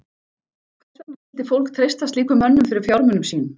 Hvers vegna skyldi fólk treysta slíkum mönnum fyrir fjármunum sínum?